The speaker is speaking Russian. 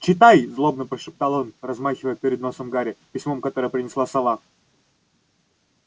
читай злобно прошептал он размахивая перед носом гарри письмом которое принесла сова